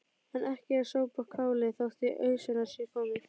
En ekki er sopið kálið þótt í ausuna sé komið.